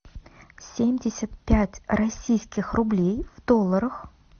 семьдесят пять российских рублей в долларах